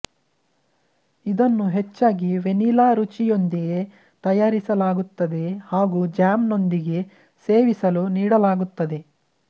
ಇದನ್ನು ಹೆಚ್ಚಾಗಿ ವೆನಿಲಾ ರುಚಿಯೊಂದಿಗೆ ತಯಾರಿಸಲಾಗುತ್ತದೆ ಹಾಗು ಜ್ಯಾಮ್ ನೊಂದಿಗೆ ಸೇವಿಸಲು ನೀಡಲಾಗುತ್ತದೆ